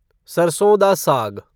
सरसों डा साग